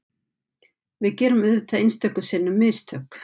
Við gerum auðvitað einstöku sinnum mistök